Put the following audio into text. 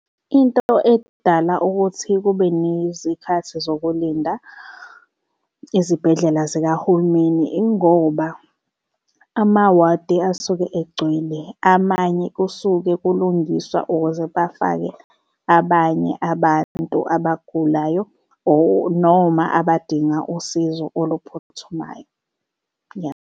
Into edala ukuthi kube nezikhathi zokulinda ezibhedlela zikahulumeni ingoba amawadi asuke egcwele amanye kusuke kulungiswa ukuze bafake abanye abantu abagulayo or noma abadinga usizo oluphuthumayo, ya.